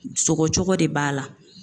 Sɔgɔ cogo de b'a la.